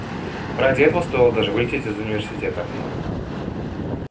ради этого стоило даже вылететь из университета